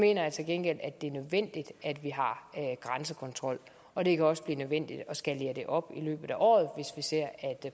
jeg til gengæld at det er nødvendigt at vi har grænsekontrol og det kan også blive nødvendigt at skalere det op i løbet af året hvis vi ser at